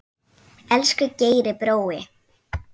Elsku Geiri brói.